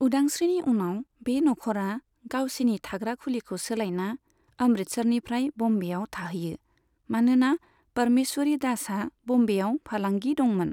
उदांस्रिनि उनाव, बे नखरा गावसिनि थाग्रा खुलिखौ सोलायना अमृतसरनिफ्राय बम्बेआव थाहैयो, मानोना परमेश्वरी दासहा बम्बेआव फालांगि दंमोन।